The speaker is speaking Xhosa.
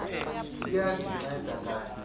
liya ndinceda kanti